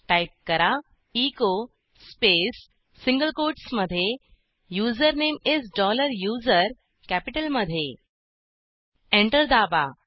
type करा echo space single कोटसमधे username is dollar user कॅपिटलमधे एंटर दाबा